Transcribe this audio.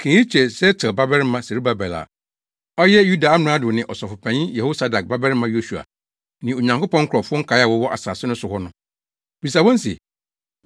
“Ka eyi kyerɛ Sealtiel babarima Serubabel a ɔyɛ Yuda amrado ne Ɔsɔfopanyin Yehosadak babarima Yosua ne Onyankopɔn nkurɔfo nkae a wɔwɔ asase no so hɔ no. Bisa wɔn se,